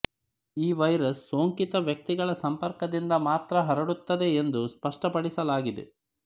ಈ ವೈರಸ್ ಸೋಂಕಿತ ವ್ಯಕ್ತಿಗಳ ಸಂಪರ್ಕದಿಂದ ಮಾತ್ರ ಹರಡುತ್ತದೆ ಎಂದು ಸ್ಪಷ್ಟಪಡಿಸಲಾಗಿದೆ